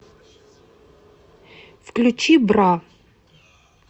включи бра